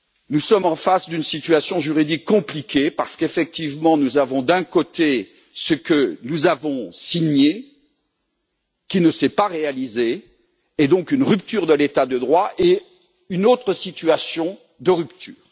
Nous sommes face à une situation juridique compliquée parce qu'effectivement, nous avons d'un côté ce que nous avons signé, qui ne s'est pas réalisé, et donc une rupture de l'état de droit et une autre situation de rupture.